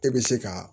E bɛ se ka